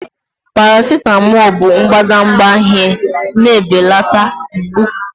Paracetamol bụ mbadamba ihe na-ebelata mgbu.